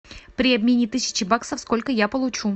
при обмене тысячи баксов сколько я получу